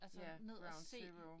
Ja ground zero